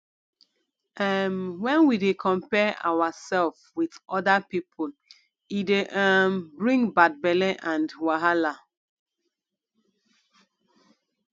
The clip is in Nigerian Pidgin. um when we dey compare ourself with oda pipo e dey um bring bad belle and wahala